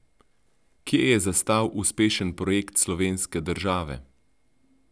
Kje je zastal uspešen projekt slovenske države?